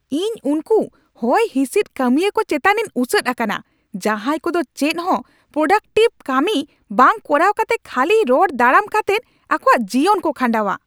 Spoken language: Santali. ᱤᱧ ᱩᱱᱠᱩ ᱦᱚᱭᱦᱤᱸᱥᱤᱫ ᱠᱟᱹᱢᱤᱭᱟᱹ ᱠᱚ ᱪᱮᱛᱟᱱᱤᱧ ᱩᱥᱟᱹᱫ ᱟᱠᱟᱱᱟ, ᱡᱟᱦᱟᱸᱭ ᱠᱚᱫᱚ ᱪᱮᱫᱦᱚᱸ ᱯᱨᱳᱰᱟᱠᱴᱤᱵᱷ ᱠᱟᱹᱢᱤ ᱵᱟᱝ ᱠᱚᱨᱟᱣ ᱠᱟᱛᱮ ᱠᱷᱟᱹᱞᱤ ᱨᱚᱲ ᱫᱟᱨᱟᱢ ᱠᱟᱛᱮᱜ ᱟᱠᱚᱣᱟᱜ ᱡᱤᱭᱚᱱ ᱠᱚ ᱠᱷᱟᱸᱰᱟᱣᱟ ᱾